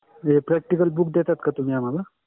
हे Practical book देता का तुह्मी आम्हाला